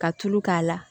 Ka tulu k'a la